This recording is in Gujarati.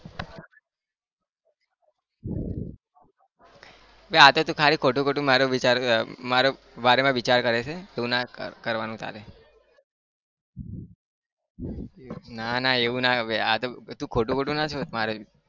આતો ખાલી ખોટું ખોટું મારુ વિચારે મારુ बारे में વિચાર કરે છે આવું ના કરવાનું તારે ના ના એવું ના બે આતો તું ખોટું ખોટું ના सोच મારે